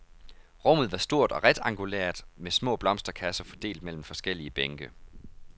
Rummet var stort og rektangulært, med små blomsterkasser fordelt mellem forskellige bænke.